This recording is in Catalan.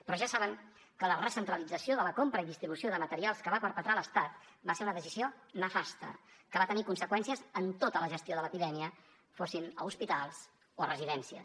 però ja saben que la recentralització de la compra i distribució de materials que va perpetrar l’estat va ser una decisió nefasta que va tenir conseqüències en tota la gestió de l’epidèmia fossin a hospitals o a residències